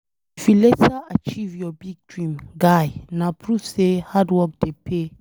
If you later achieve your big dream, guy na proof say hard work dey pay.